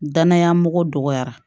Danaya mɔgɔ dɔgɔyara